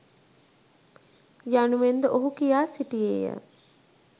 යනුවෙන්ද ඔහු කියා සිටියේය.